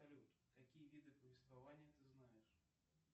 салют какие виды повествования ты знаешь